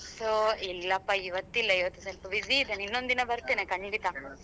So ಇಲ್ಲಪ್ಪ ಇವತ್ತಿಲ್ಲ ಇವತ್ತ್ ಸ್ವಲ್ಪ busy ಇದ್ದೇನೆ ಇನ್ನೊಂದು ದಿನ ಬರ್ತೇನೆ ಖಂಡಿತ.